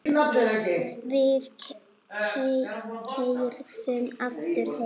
Við keyrðum aftur heim.